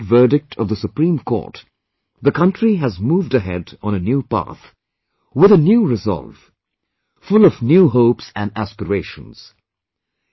After this historic verdict of the Supreme Court, the country has moved ahead on a new path, with a new resolve...full of new hopes and aspirations